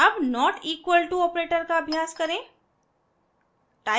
अब not equal to operator का अभ्यास करें